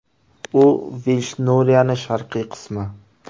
U Veyshnoriyaning sharqiy qismi.